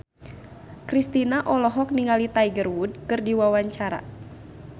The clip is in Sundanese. Kristina olohok ningali Tiger Wood keur diwawancara